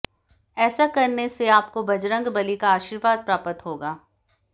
ऐसा करने से आपको बंजरग बली का आर्शीवाद प्राप्त होगा